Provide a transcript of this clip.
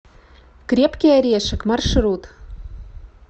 крепкий орешек маршрут